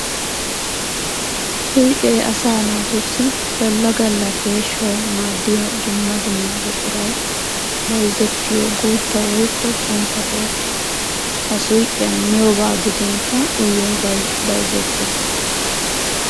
Suyqqe asaa naatussi gala gala peeshawu maadiya dumma dumma buquray bayzzettiyo guutta woykko xuntta keetta. Ha suyqqiyan miyobba gidinkka uyiyyobbay bayzzetes.